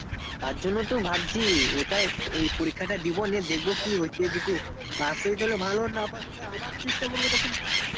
তারজন্য তো ভাবছি এই পরীক্ষা টা দিবো নিয়ে দেখবো কি হচ্ছে pass না pass করলে আবার দেখবো